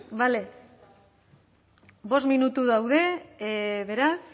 bale bost minutu daude beraz